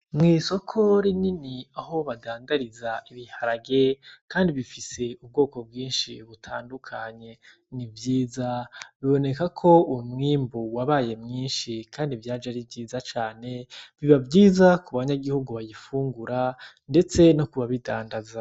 Mw'isoko rinini aho badandariza ibiharage kandi bifise ubwoko bwinshi butandukanye ni vyiza, biboneka ko umwimbu wabaye mwinshi kandi vyaje ari vyiza cane, biba vyiza ku banyagihugu bayifungura ndetse no kubabidandaza.